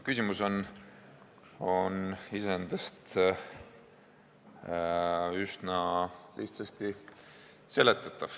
Küsimus on iseendast üsna lihtsasti seletatav.